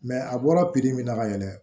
a bɔra piri min na ka yɛlɛ